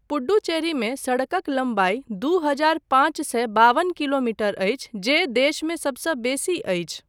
पुडुचेरीमे सड़कक लम्बाई दू हजार पाँच सए बावन किलोमीटर अछि जे देशमे सबसँ बेसी अछि।